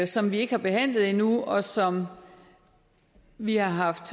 som vi ikke har behandlet endnu og som vi har haft